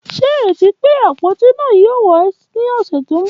Ṣe ireti pe apoti naa yoo wa ni ọsẹ ti n bọ?